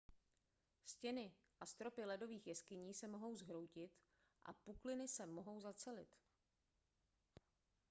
stěny a stropy ledových jeskyní se mohou zhroutit a pukliny se mohou zacelit